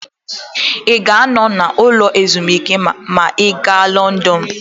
Ị ga-anọ n'ụlọ ezumike ma ị gaa Lọndọnụ?